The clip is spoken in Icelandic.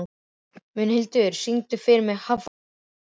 Mundhildur, syngdu fyrir mig „Háflóð“.